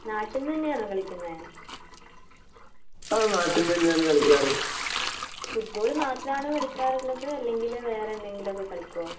നാട്ടിൽ നിന്ന് തന്നെയാണോ കളിക്കുന്നേ? ഫുട്ബാൾ മാത്രമാണോ കളിക്കാറുള്ളത് അല്ലെങ്കിൽ വേറെന്തെങ്കിലുമൊക്കെ കളിക്കോ?